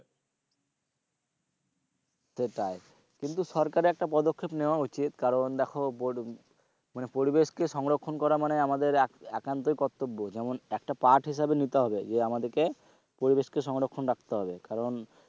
সেটাই কিন্তু সরকারের একটা পদক্ষেপ উচিৎ কারণ দেখো মানে পরিবেশকে সংরক্ষণকে করা মানে আমাদের একান্তই কর্তব্য যেমন একটা হিসেবে নিতে হবে যে আমাদেরকে পরিবেশকে সংরক্ষণ রাখতে হবে কারণ,